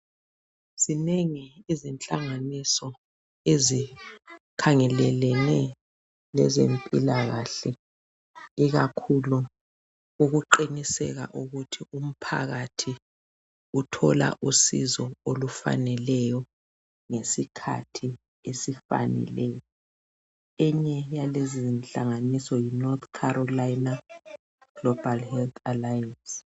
Zinengi inhlanganiso ezikhangelelene lezempilakahle, ikakhulu ukuqiniseka ukuthi umphakathi uthola usizo, olufaneleyo, ngesikhathi esifaneleyo. Enye yalezi inhlanganiso, yiNorth Carolina, Global Health Alliance.